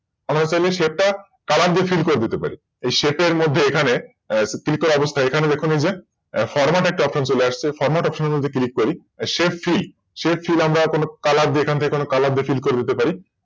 আমাদের তাহলে Shape তা Colour দিয়ে Fill করে দিতে পারি Shape তার মধ্যে এখানে Click করা অবস্থায় এখানে দেখুন এই যে Format একটা Option চলে আসছে Format option এ যদি Click করি ShapeFree আমরা কোন Colour দিয়ে Fill করে দিতে পারি